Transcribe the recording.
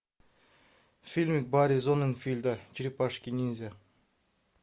фильм барри зонненфельда черепашки ниндзя